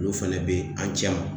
Olu fɛnɛ bɛ an cɛ la